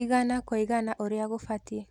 Igana kwa igana ũrĩa gũbatie.